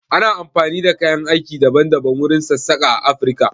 Ana amfani da kayan aiki daban daban wurin sassaƙa a Afirka.